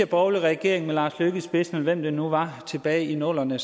borgerlige regering med lars løkke rasmussen i spidsen og hvem det nu var tilbage i nullerne